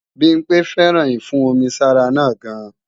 Bimpe féràn ìfún-omi-sára náà gan